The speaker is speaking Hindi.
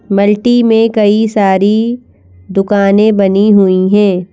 मल्टी में कई सारी दुकानें बनी हुई हैं।